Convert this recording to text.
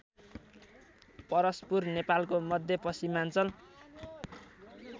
परस्पुर नेपालको मध्यपश्चिमाञ्चल